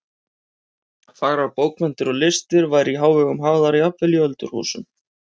Fagrar bókmenntir og listir væru í hávegum hafðar jafnvel í öldurhúsum.